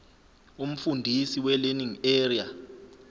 umfundisi welearning area